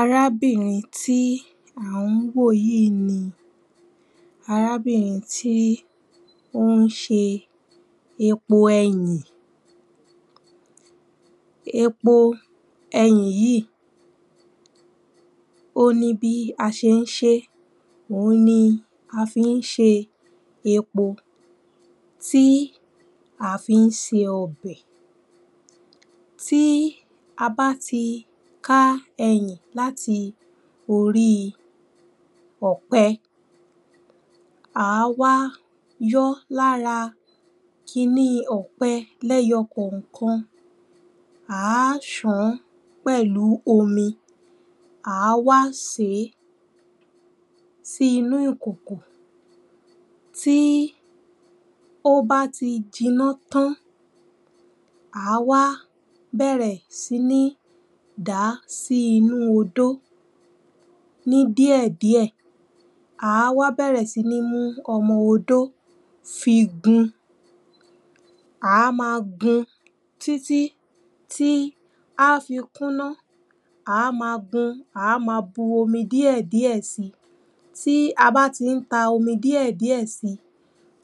Arábìrin tí à ń wò yìí ni arábìriin tí ó ń ṣe epo ẹyìn Epo ẹyìn yìí ó ní bí a ṣe ń ṣe é, òun ni a fi ń ṣe epo tí a fi ń se ọbẹ̀ tí a bá ti ká ẹyì láti orí ọ̀pẹ àá wá yọọ́ lára kiní ọ̀pẹ ní ẹyọ kọ̀ọ̀kan à wá ṣàn án pẹ̀lú omi àá wá sè é sí inú ìkòkò tí ó bá ti jinná tán à á wá́ bẹ̀rẹ̀ sí ní dàá sí inú odó ní díẹ̀díẹ̀ à á wá bẹ̀rẹ̀ sí ní mú ọmọ odó fi gun à á ma gun títí tí ó máa fi kúnná, à á máa gun, à á máa bú omi díẹ̀díẹ̀ si tí a bá ti ń ta omi díèdíẹ̀ si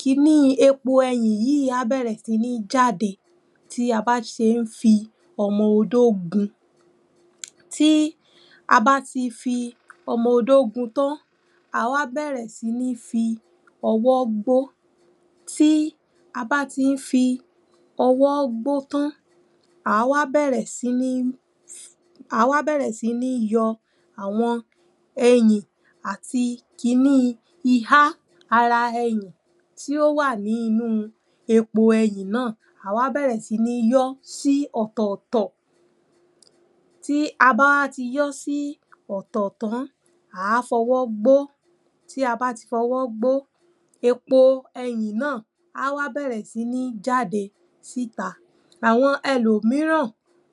kiní epo ẹyìn yìí á bẹ̀rẹ̀ sí ní jáde tí a bá ṣe ń fi ọmọ odó gun tí a bá ti fi ọmọ odó gun tán àá wá bẹ̀rẹ̀ sí í fi ọwọ́ gbo tí a bá ti ń fi ọwọ́ gbo tán àá wá bẹ̀rẹ̀ sí ní àá wá bẹ̀rẹ̀ sí ní yọ àwọn ẹyìn àti kiní ihá ara ẹyìn tí ó wà nínú epo ẹyìn náà, àá wá bẹ̀rẹ̀ sí ní yọ sí ọ̀tọ̀ọ̀tọ̀ tí a bá wá ti yọ sí ọ̀tọ̀ tán àá fi ọwọ́ gbo, tí a bá ti fọwọ́ gbo epo ẹyìn náà á wá bẹ̀rẹ̀ sí jáde síta. Àwọn ẹlòmíràn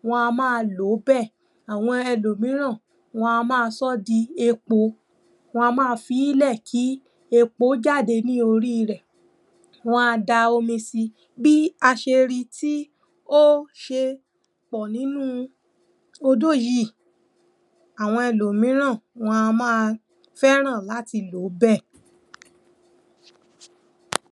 wọn a máa lò ó bẹ́ẹ̀, àwọn ẹlòmíhràn wọn a máa sọ́ di epo wọn a máa filẹ̀ kí epo jáde lóri rẹ̀ wọn a da omi si bí a ṣe ri tí ó ṣe pọ̀ nínú odó yìí àwọn ẹlòmíràn a máa fẹ́ràn láti lò ó bẹ́ẹ̀